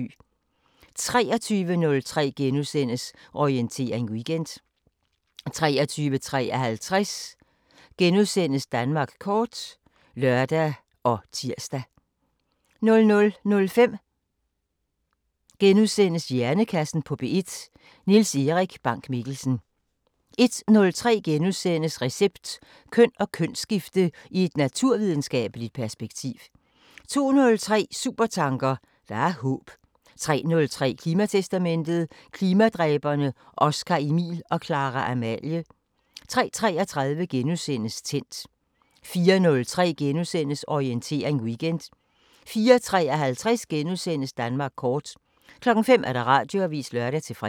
23:03: Orientering Weekend * 23:55: Danmark kort *(lør og tir) 00:05: Hjernekassen på P1: Niels Erik Bank-Mikkelsen * 01:03: Recept: Køn og kønsskifte i et naturvidenskabeligt perspektiv * 02:03: Supertanker: Der er håb 03:03: Klimatestamentet: Klimadræberne Oscar-Emil og Clara-Amalie 03:33: Tændt * 04:03: Orientering Weekend * 04:53: Danmark kort * 05:00: Radioavisen (lør-fre)